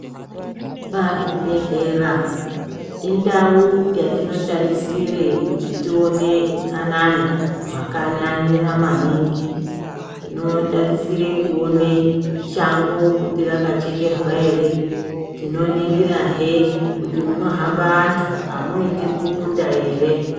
Pazvibhehlera indau yatinotarisire kuti tione utsanana hwakanyanya maningi. Timotarisire kuone kuti shango rakachekerwa ere. Tinoningirahe kuti munohamba antu amuiti bukuta ere.